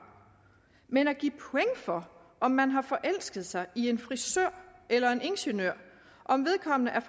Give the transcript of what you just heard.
men at give point for om man har forelsket sig i en frisør eller en ingeniør og om vedkommende er